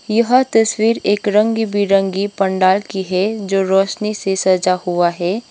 यह तस्वीर एक रंगी बिरंगी पंडाल की है जो रोशनी से सजा हुआ है।